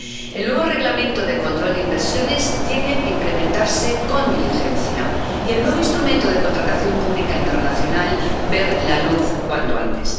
El nuevo Reglamento sobre el control de las inversiones tiene que implementarse con diligencia, y el nuevo instrumento de contratación pública internacional, ver la luz cuanto antes.